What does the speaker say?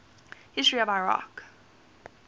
history of iraq